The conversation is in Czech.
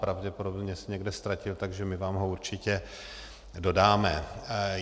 Pravděpodobně se někde ztratil, takže my vám ho určitě dodáme.